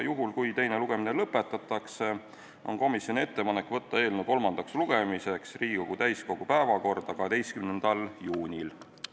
Juhul, kui teine lugemine lõpetatakse, on komisjoni ettepanek võtta eelnõu kolmandaks lugemiseks Riigikogu täiskogu päevakorda 12. juuniks.